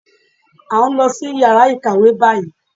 À ń lọ sí yàrá ìkàwé báyìí